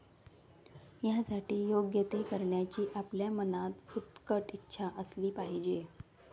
यासाठी योग्य ते करण्याची आपल्या मनात उत्कट इच्छा असली पाहिजे.